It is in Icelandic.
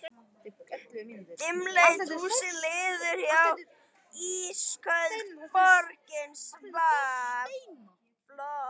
Dimmleit húsin liðu hjá, ísköld borgin svaf.